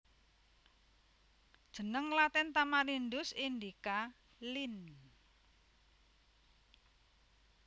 Jeneng Latin Tamarindus indica Linn